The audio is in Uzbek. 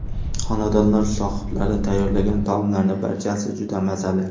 Xonadonlar sohiblari tayyorlagan taomlarning barchasi juda mazali.